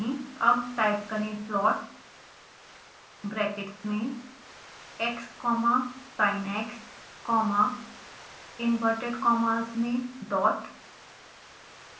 अब टाइप करें plot brackets में x comma sinx comma inverted commas में dot